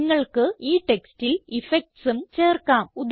നിങ്ങൾക്ക് ഈ ടെക്സ്റ്റിൽ effectsഉം ചേർക്കാം